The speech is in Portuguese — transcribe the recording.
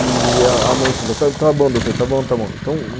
E a mãe falou, está bom, está bom doutor, então...